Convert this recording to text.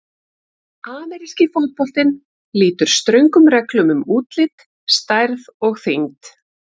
Ameríski fótboltinn lýtur ströngum reglum um útlit, stærð og þyngd.